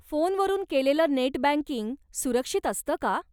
फोनवरून केलेलं net banking सुरक्षित असतं का?